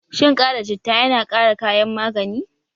Shin ƙara citta yana ƙara kayan magani?